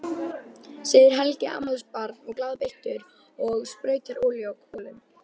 segir Helgi afmælisbarn glaðbeittur og sprautar olíu á kolin.